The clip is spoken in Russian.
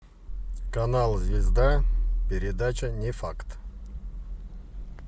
канал звезда передача не факт